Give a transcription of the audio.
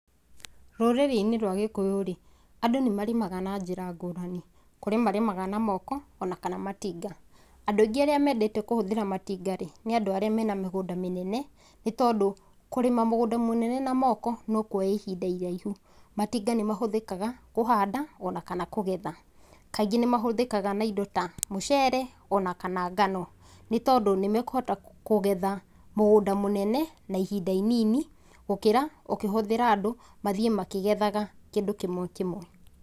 Rũrĩrĩ-inĩ rwa gĩkũyũ rĩ, andũ nĩ marĩmaga na njĩra ngũrani, kũrĩ marĩmaga na moko ona kana matinga. Andũ aingĩ arĩa mendete kũhũthĩra matinga rĩ, nĩ andũ arĩa mena mĩgũnda mĩnene nĩ tondũ kũrĩma mũgunda mũnene na moko nĩ ũkuoya ihinda iraihu. Matinga nĩ mahũthĩkaga kũhanda ona kana kũgetha, kaingĩ nĩ mahũthĩkaga na indo ta mũcere ona kana ngano, nĩ tondũ nĩ makũhota kũgetha mũgũnda mũnene na ihinda inini gũkĩra ũkĩhũthĩra andũ mathiĩ makĩgethaga kĩndũ kĩmwe kĩmwe.